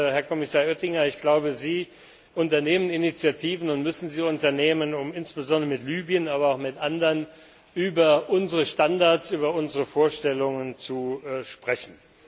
Herr Kommissar Oettinger, ich glaube, Sie unternehmen Initiativen und müssen sie unternehmen, um insbesondere mit Libyen aber auch mit anderen über unsere Standards, über unsere Vorstellungen zu sprechen.